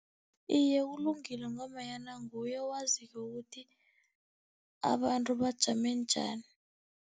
iye, kulungile ngombanyana nguye owaziko ukuthi abantu bajame njani.